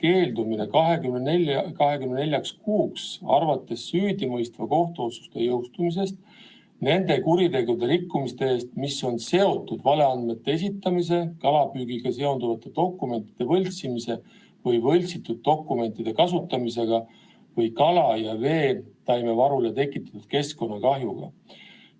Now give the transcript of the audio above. Eelnõuga sätestatakse ka toetuse andmisest keeldumine 24 kuuks arvates süüdimõistva kohtuotsuse jõustumisest nende kuritegude ja rikkumiste eest, mis on seotud valeandmete esitamise, kalapüügiga seonduvate dokumentide võltsimise või võltsitud dokumentide kasutamisega või kala- ja veetaimevarule tekitatud keskkonnakahjuga.